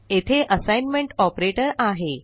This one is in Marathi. येथे असाइनमेंट ऑपरेटर आहे